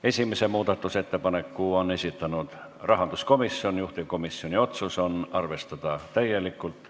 Esimese muudatusettepaneku on esitanud rahanduskomisjon, juhtivkomisjoni otsus on arvestada seda täielikult.